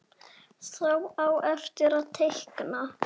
Þá á eftir að teikna.